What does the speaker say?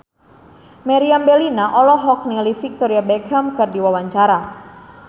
Meriam Bellina olohok ningali Victoria Beckham keur diwawancara